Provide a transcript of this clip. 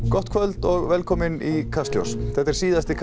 gott kvöld og velkomin í Kastljós þetta er síðasti